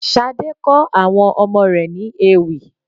Sade kọ àwọn ọmọ rẹ̀ ní ewì